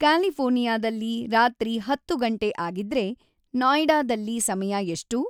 ಕ್ಯಾಲಿಫೋರ್ನಿಯಾದಲ್ಲಿ ರಾತ್ರಿ ಹತ್ತುಗಂಟೆ ಆಗಿದ್ರೆ ನಾಯ್ಡಾದಲ್ಲಿ ಸಮಯ ಎಷ್ಟು